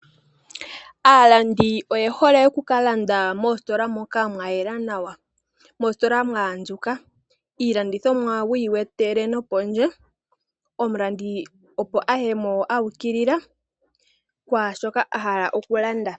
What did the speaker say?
Aalandi oye hole oku kalanda moositola moka mwayela nawa, moositola mwaandjuka . iilandithomwa wuyi wetele nopondje. Omulandithi opo aye mo uukilila kwaashoka a hala okulanditha.